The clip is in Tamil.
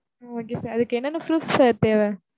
Okay sir. அதுக்கு என்னென்ன proof sir தேவ?